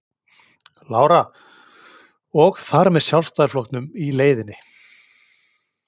Lára: Og og þar með Sjálfstæðisflokknum í leiðinni?